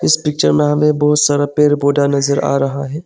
इस पिक्चर में हमे बहोत सारा पेड़ पौधा नजर आ रहा है।